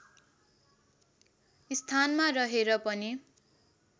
स्थानमा रहेर पनि